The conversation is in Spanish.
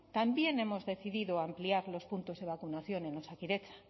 también hemos decidido ampliar los puntos de vacunación en osakidetza